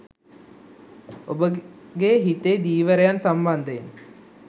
ඔබගේ හිතේ ධීවරයන් සම්බන්ධයෙන්